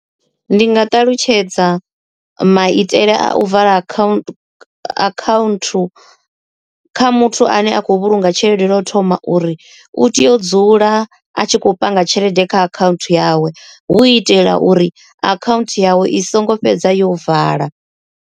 Ndi nga ṱalutshedza maitele a u vala account account kha muthu ane a khou vhulunga tshelede lwa u thoma uri u tea u dzula a tshi khou panga tshelede kha akhaunthu yawe, hu itela uri akhaunthu yawe i songo fhedza yo vala.